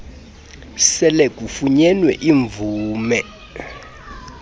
sele kufunyenwe imvume